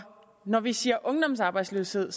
når vi siger ungdomsarbejdsløshed